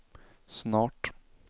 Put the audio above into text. snart